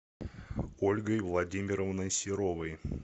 ольгой владимировной серовой